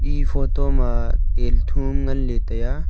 e photo ma tel thuam nganley taiya.